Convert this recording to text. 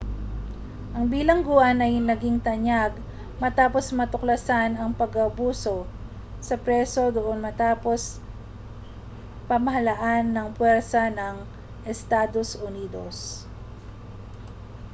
ang bilangguan ay naging tanyag matapos matuklasan ang pang-aabuso sa preso doon matapos pamahalaan ng puwersa ng estados unidos